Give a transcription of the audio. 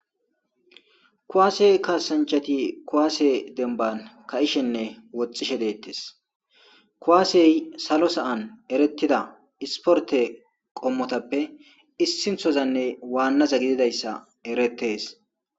kuwaase kaasanchati kuwaasse denban ka'ishenne woxxishe deettes kuwaasey salo sa'an eretida isporte qommotappe issinthozanne waannaza gididayssa erettees